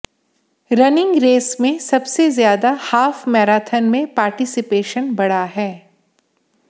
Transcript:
running race में सबसे ज्यादा हाफ मैराथन में पार्टिसिपेशन बढ़ा है